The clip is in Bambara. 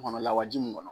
Kɔnɔ lawaji mun kɔnɔ